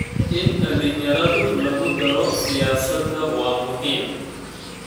In dhalinyarada lagu daro siyaasadda waa muhiim.